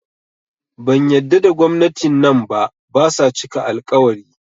Ban yadda da gwamnati nan ba, basa cika al-ƙawari